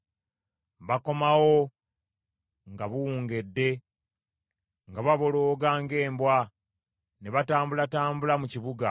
Bakomawo nga buwungedde nga babolooga ng’embwa, ne batambulatambula mu kibuga.